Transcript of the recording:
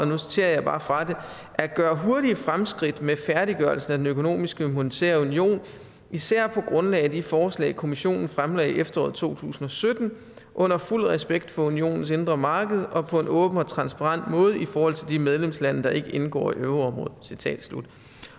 nu citerer jeg bare fra det at gøre hurtige fremskridt med færdiggørelsen af den økonomiske monetære union især på grundlag af de forslag kommissionen fremlagde i efteråret to tusind og sytten under fuld respekt for unionens indre marked og på en åben og transparent måde i forhold til de medlemslande der ikke indgår i euroområdet citat slut